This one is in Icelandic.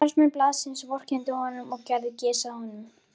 Starfsmenn blaðsins vorkenndu honum og gerðu gys að honum.